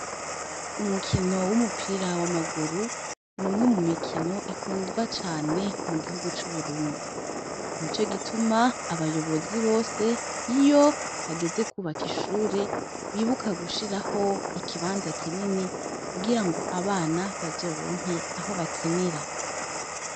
Umukino w'umupira w'amaguru n'umwe mu mikino ikundwa cane mu gihugu c'uburundi ni co gituma abayobozi bose iyo hageze kwubaka ishure bibuka gushiraho ikibanza kinini kugira ngo abana bazoronke aho bakinira.